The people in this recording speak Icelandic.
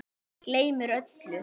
Gleymir öllu.